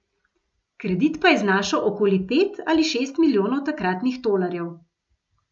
Kredit pa je znašal okoli pet ali šest milijonov takratnih tolarjev.